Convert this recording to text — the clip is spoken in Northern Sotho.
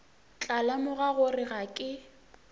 tla lemoga gore ga ke